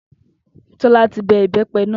Tó̩lá ti be̩ ìbé̩pe̩ náà